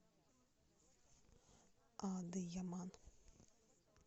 адыяман